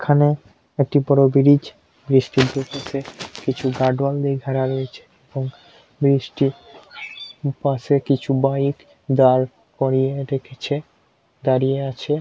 এখানে একটি বড়ো বিরিজ | কিছু গাডোয়াল দিয়ে ঘেরা রয়েছে | এবং ব্রিজটির পাশে কিছু বাইক